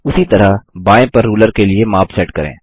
उसी तरह बायें पर रूलर के लिए माप सेट करें